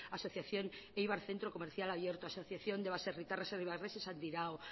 asociación eibar centro comercial abierto asociación de baserritarras eibarreses andirao